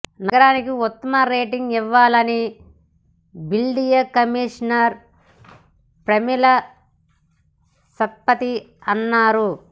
నగరానికి ఉత్తమ రేటింగ్ ఇవ్వాలని బల్దియా కమిషనర్ పమేలా సత్పతి అన్నారు